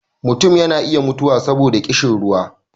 mutum yana iya mutuwa saboda ƙishin ruwa